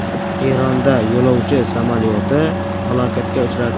Eronda yo‘lovchi samolyoti halokatga uchradi.